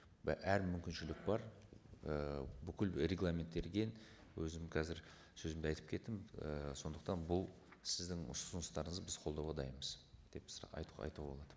әр мүмкіншілік бар і бүкіл регламенттелген өзім қазір сөзімде айтып кеттім і сондықтан бұл сіздің ұсыныстарыңыз біз қолдауға дайынбыз деп айтуға болады